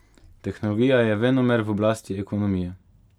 Tehnologija je venomer v oblasti ekonomije.